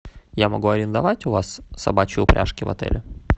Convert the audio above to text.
я могу арендовать у вас собачьи упряжки в отеле